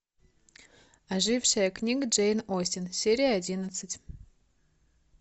ожившая книга джейн остин серия одиннадцать